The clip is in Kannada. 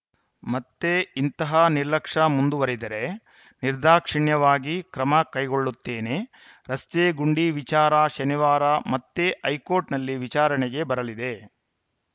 ಮತ್ತೆ ಇಂತಹ ನಿರ್ಲಕ್ಷ್ಯ ಮುಂದುವರಿದರೆ ನಿರ್ಧಾಕ್ಷಿಣ್ಯವಾಗಿ ಕ್ರಮ ಕೈಗೊಳ್ಳುತ್ತೇನೆ ರಸ್ತೆಗುಂಡಿ ವಿಚಾರ ಶನಿವಾರ ಮತ್ತೆ ಹೈಕೋರ್ಟ್‌ನಲ್ಲಿ ವಿಚಾರಣೆಗೆ ಬರಲಿದೆ